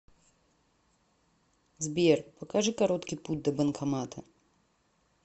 сбер покажи короткий путь до банкомата